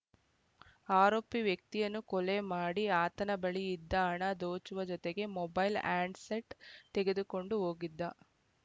ಆರೋಪಿ ವ್ಯಕ್ತಿಯನ್ನು ಕೊಲೆ ಮಾಡಿ ಆತನ ಬಳಿ ಇದ್ದ ಹಣ ದೋಚುವ ಜತೆಗೆ ಮೊಬೈಲ್‌ ಆಂಡ್ ಸೆಟ್‌ ತೆಗೆದುಕೊಂಡು ಓಗಿದ್ದ